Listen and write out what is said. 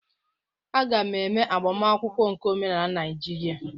A ga m eme agbamakwụkwọ nke omenala Naijiria.